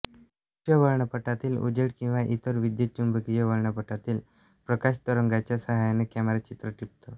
दृश्य वर्णपटातील उजेड किंवा इतर विद्युत चुंबकीय वर्णपटातील प्रकाशतरंगांच्या साहाय्याने कॅमेरा चित्र टिपतो